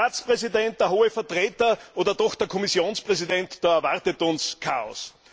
Der Ratspräsident, der Hohe Vertreter oder doch der Kommissionspräsident? Da erwartet uns Chaos.